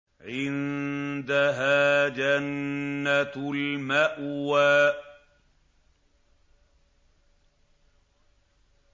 عِندَهَا جَنَّةُ الْمَأْوَىٰ